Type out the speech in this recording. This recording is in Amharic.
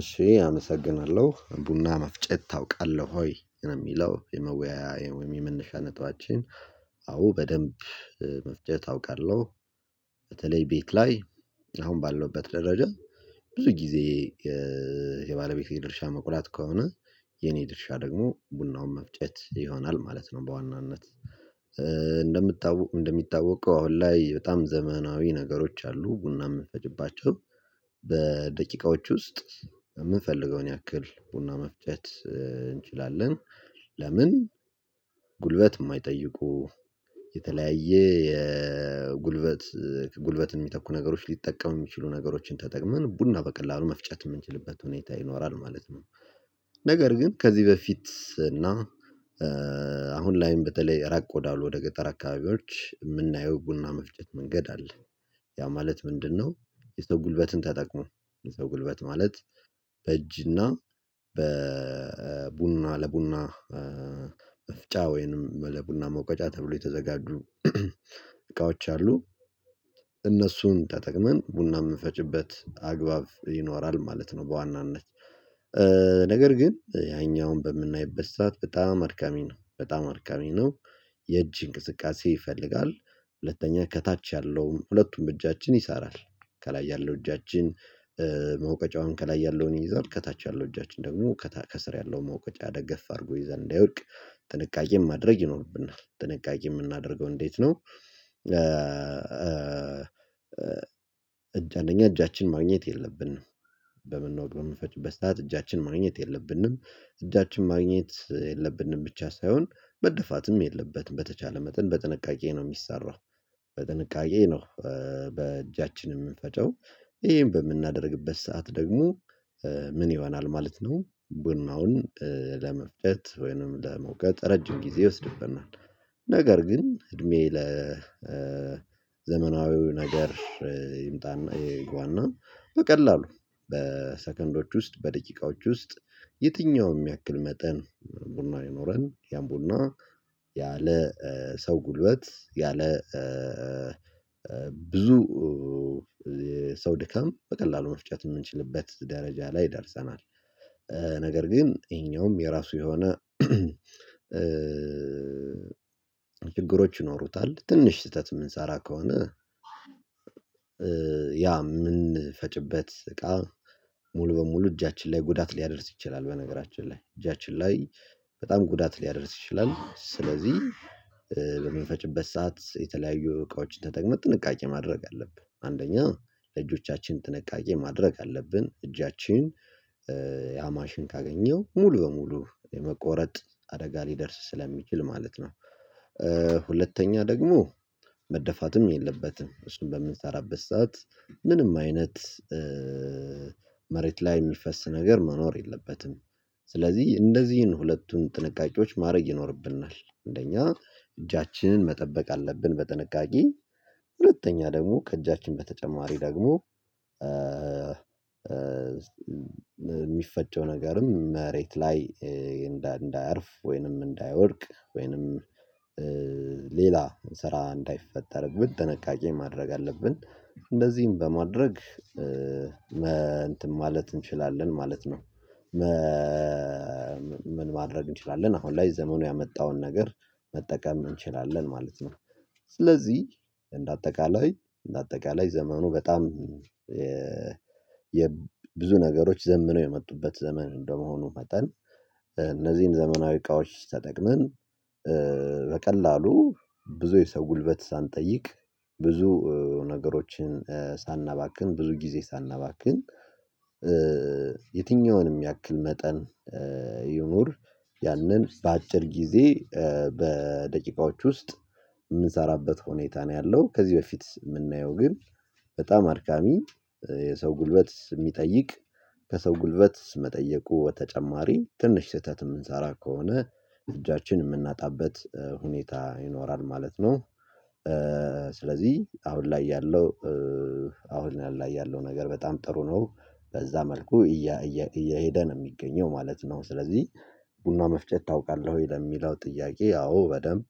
እሺ አመሰግናለሁ ቡና መፍጨት ታውቃለሁ ወይ የሚለው የመወያያ ወይም የመነሻ ነጥባችን። አዎ በደንብ መፍጨት አውቃለሁ። በተለይ ቤት ላይ አሁን ባለውበት ደረጃ ብዙ ጊዜ። የባለቤቴ ድርሻ መቁላት ከሆነ የኔ ድርሻ ደግሞ ቡናውን መፍጨት ይሆናል ማለት ነው። በዋናነት እንደሚታወቀው አሁን ላይ በጣም ዘመናዊ ነገሮች አሉ ቡና የምንፈጭባቸው። በደቂቃዎች ውስጥ የምንፈልገውን ያክል ቡና መፍጨር እንችላለን። ለምን ጉልበት የማይጠይቁ የተለያየ የጉልበት ጉልበትን የሚተኩ ነገሮች ሊጠቀሙ የሚችሉ ነገሮችን ተጠቅመን ቡና በቀላሉ መፍጨት የምንችልበት ሁኔታ ይኖራል ማለት ነው። ነገር ግን ከዚህ በፊት እና አሁን ላይም በተለይ ራቅ ወዳሉ ወደ ገጠር አካባቢዎች የምናየው ቡና መፍጨት መንገድ አለ። ያ ማለት ምንድነው? የሰው ጉልበትን ተጠቅሞ የሰው ጉልበት ማለት በእጅ እና በቡና ለቡና መፍጫ ወይንም ለቡና መቆጫ ተብሎ የተዘጋጁ እቃዎች አሉ። እነሱን ተጠቅመን ቡና የምንፈጭበት አግባብ ይኖራል ማለት ነው። በዋናነት ነገር ግን ያኛውን በምናይበሳት በጣም አድካሚ ነው በጣም አድካሚ ነው። የእጅ እንቅስቃሴ ይፈልጋል ሁለተኛ ከታች ያለውን ሁለቱም እጃችን ይሳራል ከላይ ያለው እጃችን መውቀጫውን ከላይ ያለውን ይይዛል ከታች ያለው እጃችን ደግሞ ከስር ያለው ማውቀጫ ደገፍ አድርጎ ይይዛል እንዳይወድቅ ጥንቃቄም ማድረግ ይኖርብናል። ጥንቃቄ የምናደርገው እንዴት ነው? እጅ አንደኛ እጃችን ማግኘት የለብንም። በምንፈጭበት ሰዓት እጃችን ማግኘት የለብንም እጃችን ማግኘት የለብንም ብቻ ሳይሆን መደፋትም የለበትም በተቻለ መጠን በጥንቃቄ ነው የሚሰራው። በጥንቃቄ ነው። በእጃችን የምንፈጨው ይሄን በምናደርግበት ሰዓት ደግሞ ምን ይሆናል ማለት ነው ቡናውን ለመፍጨት ወይንም ለመውገጥ ረጅም ጊዜ ይወስድብናል። ነገር ግን እድሜ ለዘመናዊው ነገር ይምጣና ይግባና በቀላሉ በሰከንዶች ውስጥ በደቂቃዎች ውስጥ የትኛውም ያክል መጠን ቡና ቢኖረን ያን ቡና ያለ ሰው ጉልበት ያለ ብዙ ሰው ድካም በቀላሉ መፍጨት የምንችልበት ደረጃ ላይ ደርሰናል። ነገር ግን ይሄኛውም የራሱ የሆነ ችግሮች ይኖሩታል ትንሽ ስህተት የምንሰራ ከሆነ ያ የምንፈጭበት እቃ ሙሉ በሙሉ እጃችን ላይ ጉዳት ሊያደርስ ይችላል። በነገራችን ላይ እጃችን ላይ በጣም ጉዳት ሊያደርስ ይችላል። ስለዚህ በምንፈጭበት ሰዓት የተለያዩ እቃዎችን ተጠቅመን ጥንቃቄ ማድረግ አለብን አንደኛ ለእጆቻችን ጥንቃቄ ማድረግ አለብን እጃችን ያማሽን ካገኘው ሙሉ በሙሉ የመቆረጥ አደጋ ሊደርስ ስለሚችል ማለት ነው። ሁለተኛ ደግሞ መደፋትም የለበትም እሱን በምንሰራበት ሰዓት ምንም አይነት መሬት ላይ የሚፈስ ነገር መኖር የለበትም ስለዚህ እንነዚህን ሁለቱን ጥንቃቄዎች ማድረግ ይኖርብናል። እንደኛ እጃችንን መጠበቅ አለብን። በጥንቃቄ ሁለተኛ ደግሞ ከእጃችን በተጨማሪ ደግሞ የሚፈጨው ነገርም መሬት ላይ እንዳያርፍ ወይንም እንዳይወድቅ ወይንም ሌላ ስራ እንዳይፈጠርን ጥንቃቂ ማድረግ አለብን እንደዚህም በማድረግ እንትን ማለት እንችላለን ማለት ነው። ምን ማድረግ እንችላለን አሁን ላይ ዘመኑ ያመጣውን ነገር መጠቀም እንችላለን ማለት ነው። ስለዚህ እንደ አጠቃላይ እንደ አጠቃላይ ዘመኑ በጣም የብዙ ነገሮች ዘምነው የመጡበት ዘመን እንደመሆኑ መጠን እነዚህን ዘመናዊ እቃዎች ተጠቅመን በቀላሉ ብዙ የሰው ጉልበት ሳንጠይቅ ብዙ ነገሮችን ሳናባክን ብዙ ጊዜ ሳናባክን የትኛውንም ያክል መጠን ይኑር ያንን በአጭር ጊዜ በደቂቃዎች ውስጥ የምንሰራበት ሁኔታ ነው ያለው ከዚህ በፊት የምናየው ግን በጣም አድካሚ የሰው ጉልበት የሚጠይቅ ከሰው ጉልበት መጠየቁ በተጨማሪ ትንሽ ስህተት የምንሰራ ከሆነ እጃችንን የምናጣበት ሁኔታ ይኖራል ማለት ነው። ስለዚህ አሁን ላይ ያለው አሁን ላይ ያለው ነገር በጣም ጥሩ ነው በዛ መልኩ እየሄደ ነው የሚገኘው ማለት ነው። ስለዚህ ቡና መፍጨት ታውቃለህ ወይ? ለሚለው ጥያቄ አወ በደንብ